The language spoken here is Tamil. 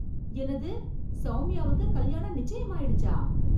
என்னது! சௌமியாவுக்கு கல்யாணம் நிச்சயம் ஆயிடுச்சா!